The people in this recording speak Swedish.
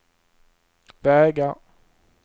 vägar